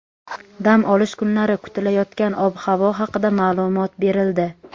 Dam olish kunlari kutilayotgan ob-havo haqida ma’lumot berildi.